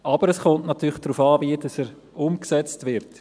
Aber es kommt natürlich darauf an, wie er umgesetzt wird.